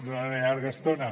durant una llarga estona